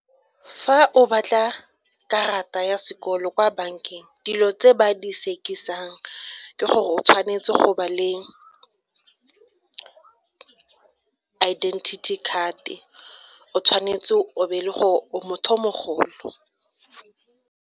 Fa o batla karata ya sekolo kwa bankeng dilo tse ba di sekisang ke gore o tshwanetse go ba le identity card-e o tshwanetse o be e le gore o motho mogolo.